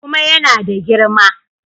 Kuma ya na da girma.